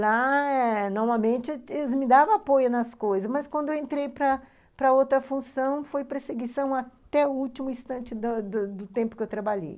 Lá eh, normalmente, eles me davam apoio nas coisas, mas quando eu entrei para para outra função, foi perseguição até o último instante do da do tempo que eu trabalhei.